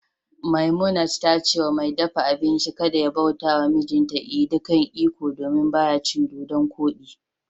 Memunant ta ce wa mai dafa abinci kada ya bauta wa mijinta edi kan ikong, domin ba ya cin dodonkodi